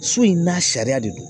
So in n'a sariya de don